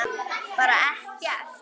Bara ekkert.